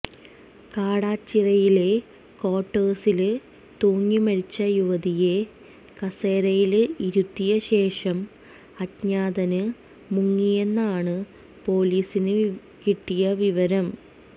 കാടാച്ചിറയിലെ ക്വാര്ട്ടേഴ്സില് തൂങ്ങിമരിച്ച യുവതിയെ കസേരയില് ഇരുത്തിയ ശേഷം അജ്ഞാതന് മുങ്ങിയെന്നാണ് പോലീസിന് കിട്ടിയ വിവരം